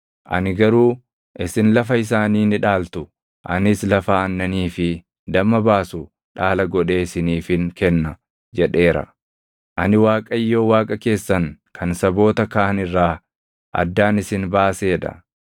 Ani garuu, “Isin lafa isaanii ni dhaaltu; anis lafa aannanii fi damma baasu dhaala godhee isiniifin kenna” jedheera. Ani Waaqayyo Waaqa keessan kan saboota kaan irraa addaan isin baasee dha.